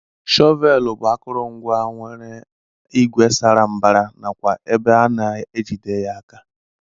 Shọvel bu akọrọngwa nke nwere igwe sara mbara nakwa ebe ana ejide ya aka.